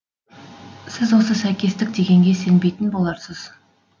сіз осы сәйкестік дегенге сенбейтін боларсыз